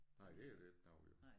Nej der er der ikke noget jo